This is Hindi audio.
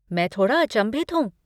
मैं थोड़ा अचंभित हूँ।